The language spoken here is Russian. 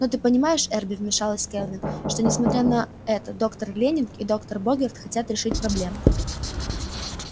но ты понимаешь эрби вмешалась кэлвин что несмотря на это доктор лэннинг и доктор богерт хотят решить проблему